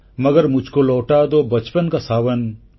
ମଗର ମୁଝକୋ ଲୌଟା ଦୋ ବଚପନ କା ସାବନ